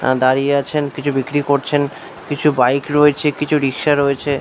আ দাঁড়িয়ে আছেন কিছু বিক্রি করছেন । কিছু বাইক রয়েছে ।কিছু রিক্সা রয়েছে।